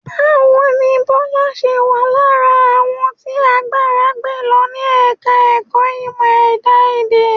Báwo ni Bọ́lá ṣe wà lára àwọn tí àgbàrá gbé lọ ní Ẹ̀ka-ẹ̀kọ́ Ìmọ̀-Ẹ̀dá Èdè?